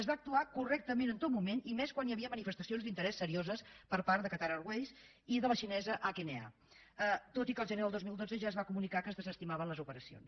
es va actuar correctament en tot moment i més quan hi havia manifestacions d’interès serioses per part de qatar airways i de la xinesa hna tot i que el gener del dos mil dotze ja es va comunicar que es desestimaven les operacions